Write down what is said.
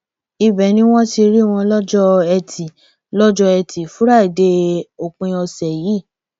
ibẹ ni wọn ti rí wọn lọjọ etí lọjọ etí fúrádéé òpin ọsẹ yìí